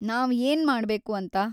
ನಾವ್‌ ಏನ್‌ ಮಾಡ್ಬೇಕು ಅಂತ?